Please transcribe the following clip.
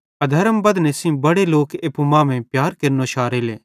अधर्म बधने सेइं बड़े लोक एप्पू मांमेइं प्यार केरनो शारेले